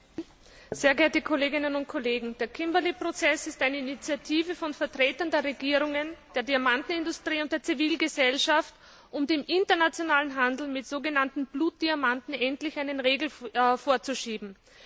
Frau Präsidentin, sehr geehrte Kolleginnen und Kollegen! Der Kimberley Prozess ist eine Initiative von Vertretern der Regierungen der Diamantenindustrie und der Zivilgesellschaft, um dem internationalen Handel mit sogenannten Blutdiamanten endlich einen Riegel vorzuschieben.